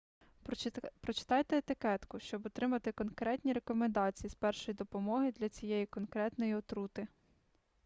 прочитайте етикетку щоб отримати конкретні рекомендації з першої допомоги для цієї конкретної отрути